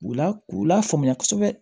U la k'u lafaamuya kosɛbɛ